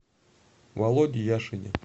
володе яшине